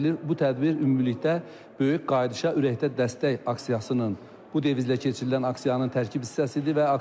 Bu tədbir ümumilikdə böyük qayıdışa ürəkdən dəstək aksiyasının, bu devizlə keçirilən aksiyanın tərkib hissəsidir.